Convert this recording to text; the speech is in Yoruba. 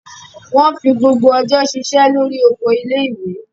Wọ́n fi gbogbo ọjọ́ ṣiṣẹ́ lórí oko ilé-ìwé.